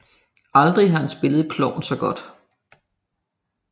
Aldrig har han spillet klovn så godt